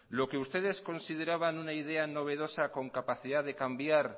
lo que ustedes consideraban una idea novedosa con capacidad de cambiar